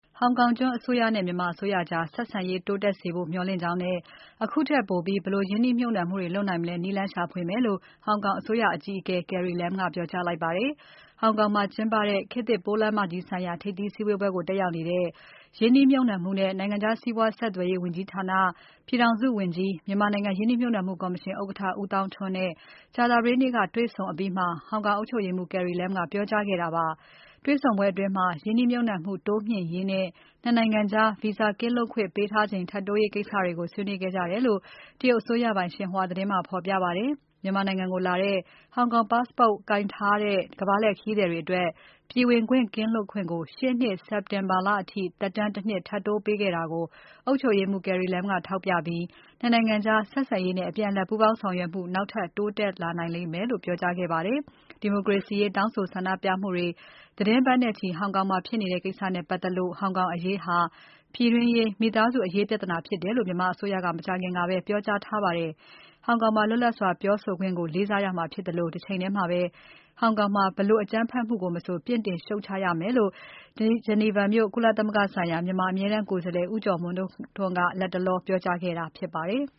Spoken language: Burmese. ဟောင်ကောင်ကျွန်းအစိုးရနဲ့ မြန်မာအစိုးရကြား ဆက်ဆံရေးတိုးတက်စေဖို့ မျှော်လင့်ကြောင်းနဲ့ အခုထက်ပိုပြီး ဘယ်လိုရင်းနှီးမြှုပ်နှံမှုတွေ လုပ်နိုင်မလဲ နည်းလမ်းရှာဖွေမယ်လို့ ဟောင်ကောင်အစိုးရအကြီးအကဲ Carrie Lam က ပြောကြားလိုက်ပါတယ်။ ဟောင်ကောင်မှာကျင်းပတဲ့ ခေတ်သစ်ပိုးလမ်းမကြီးဆိုင်ရာ ထိပ်သီးစည်းဝေးပွဲကို တက်ရောက်နေတဲ့ ရင်းနှီးမြှုပ်နှံမှုနဲ့ နိုင်ငံခြားစီးပွားဆက်သွယ်ရေးဝန်ကြီးဌာန ပြည်ထောင်စုဝန်ကြီး မြန်မာနိုင်ငံ ရင်းနှီးမြှုပ်နှံမှု ကော်မရှင်ဥက္ကဋ္ဌ ဦးသောင်းထွန်းနဲ့ ကြာသပတေးနေ့က တွေ့ဆုံအပြီးမှာ ဟောင်ကောင်အုပ်ချုပ်ရေးမှူး Carrie Lam က ပြောကြားခဲ့တာပါ။ တေ့ွဆုံပွဲအတွင်း ရင်းနှီးမြှုပ်နှံမှု တိုးမြှင့်ရေးနဲ့ ၂ နိုင်ငံကြား Visa ကင်းလွတ်ခွင့်ပေးထားချိန် ထပ်တိုးရေးကိစ္စတွေကို ဆွေးနွေးခဲ့ကြတယ်လို့ တရုတ်အစိုးရပိုင် ရှင်ဟွာသတင်းမှာ ဖော်ပြပါတယ်။ မြန်မာနိုင်ငံကိုလာတဲ့ ဟောင်ကောင် Passport ကိုင်ဆောင်တဲ့ ကမ္ဘာလှည့်ခရီးသည်တွေအတွက် ပြည်ဝင်ခွင့်ကင်းလွတ်ခွင့်ကို ရှေ့နှစ် စက်တင်ဘာလအထိ သက်တမ်း ၁ နှစ် ထပ်တိုးပေးတာကို အုပ်ချုပ်ရေးမှူး Carrie Lam က ထောက်ပြပြီး ၂ နိုင်ငံကြား ဆက်ဆံရေးနဲ့ အပြန်အလှန် ပူးပေါင်းဆောင်ရွက်မှု နောက်ထပ် တိုးတက်နိုင်မယ်လို့ ပြောကြားခဲ့ပါတယ်။ ဒီမိုကရေစီရေး တောင်းဆိုဆန္ဒပြမှုတွေ သီတင်းပတ်နဲ့ချီ ဟောင်ကောင်မှာဖြစ်နေတဲ့ ကိစ္စနဲ့ပတ်သက်လို့ ဟောင်ကောင်အရေးဟာ ပြည်တွင်းရေး မိသားစုအရေးပြဿနာ ဖြစ်တယ်လို့ မြန်မာအစိုးရက မကြာခင်ကပဲ ပြောကြားထားပါတယ်။ ဟောင်ကောင်မှာ လွတ်လပ်စွာပြောဆိုခွင့်ကို လေးစားရမှာ ဖြစ်သလို တစ်ချိန်တည်းမှာပဲ ဟောင်ကောင်က ဘယ် အကြမ်းဖက်မှုကို မဆို ပြစ်တင် ရှုတ်ချရပါမယ်လို့ ဂျီနီဗာမြို့ ကုလသမဂ္ဂဆိုင်ရာ မြန်မာ အမြဲတမ်းကိုယ်စားလှယ် ဦးကျော်မိုးထွန်းက လတ်တလော ပြောကြားခဲ့တာဖြစ်ပါတယ်။